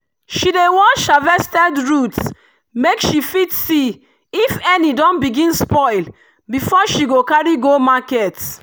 she dey wash harvested root make she fit see if any don begin spoil before she carry go market.